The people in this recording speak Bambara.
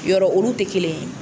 Yɔrɔ olu tɛ kelen ye